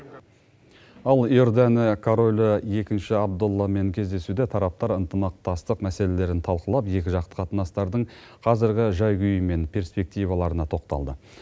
ал иордания королі екінші абдалламен кездесуде тараптар ынтымақтастық мәселелерін талқылап екіжақты қатынастардың қазіргі жай күйі мен перспективаларына тоқталды